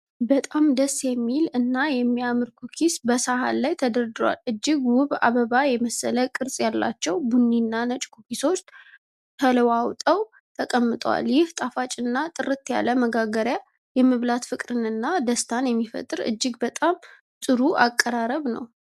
በጣም ደስ የሚል እና የሚያምር ኩኪስ በሳህን ላይ ተደርድሯል። እጅግ ውብ አበባ የመሰለ ቅርጽ ያላቸው ቡኒ እና ነጭ ኩኪሶች ተለዋውጠው ተቀምጠዋል። ይህ ጣፋጭና ጥርት ያለ መጋገሪያ የመብላት ፍቅርንና ደስታን የሚፈጥር እጅግ በጣም ጥሩ አቀራረብ ነው።